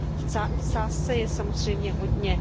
V sázce je samozřejmě hodně.